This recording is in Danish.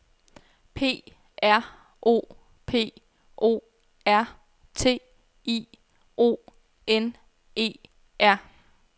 P R O P O R T I O N E R